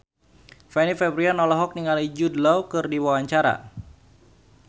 Fanny Fabriana olohok ningali Jude Law keur diwawancara